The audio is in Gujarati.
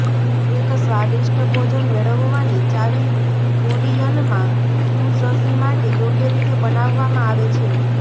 એક સ્વાદિષ્ટ ભોજન મેળવવાની ચાવી કોરિયનમાં ફ્યુઝઝી માટે યોગ્ય રીતે બનાવવામાં આવે છે